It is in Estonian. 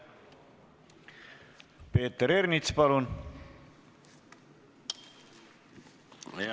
Peeter Ernits, palun!